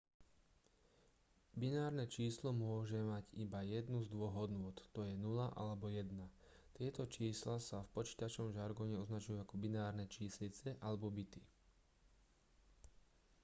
binárne číslo môže mať iba jednu z dvoch hodnôt t.j. 0 alebo 1. tieto čísla sa v počítačovom žargóne označujú ako binárne číslice alebo bity